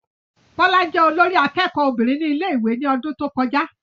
Bọ́lá jẹ́ olórí akẹ́kọ̀ọ́ obìnrin ní ilé ìwé ní ọdún tó kọjá